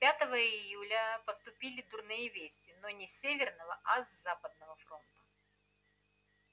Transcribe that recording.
пятого июля поступили дурные вести но не с северного а с западного фронта